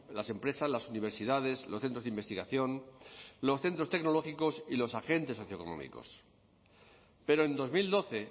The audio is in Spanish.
las empresas las universidades los centros de investigación los centros tecnológicos y los agentes socioeconómicos pero en dos mil doce